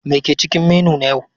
Me ke cikin menu na yau?